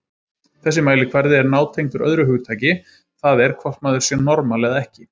Þessi mælikvarði er nátengdur öðru hugtaki, það er hvort maður sé normal eða ekki.